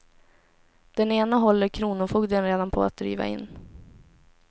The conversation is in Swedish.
Den ena håller kronofogden redan på att driva in.